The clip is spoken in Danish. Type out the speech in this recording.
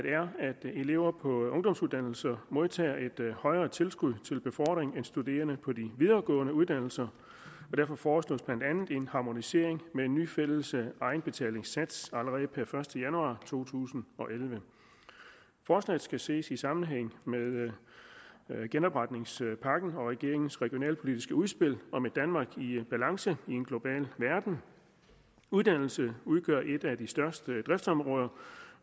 elever på ungdomsuddannelser modtager et højere tilskud til befordring end studerende på de videregående uddannelser og derfor foreslås blandt andet en harmonisering med en ny fælles egenbetalingssats allerede per første januar to tusind og elleve forslaget skal ses i sammenhæng med genopretningspakken og regeringens regionalpolitiske udspil om et danmark i balance i en global verden uddannelse udgør et af de største driftsområder